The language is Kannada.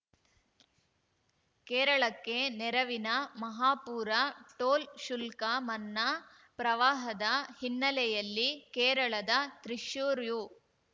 ಕೇರಳಕ್ಕೆ ನೆರವಿನ ಮಹಾಪೂರ ಟೋಲ್‌ ಶುಲ್ಕ ಮನ್ನಾ ಪ್ರವಾಹದ ಹಿನ್ನೆಲೆಯಲ್ಲಿ ಕೇರಳದ ತ್ರಿಶ್ಯೂರ್ ಯೂ